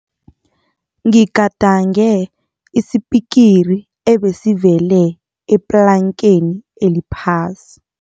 Ngigadange isipikiri ebesivele eplankeni eliphasi.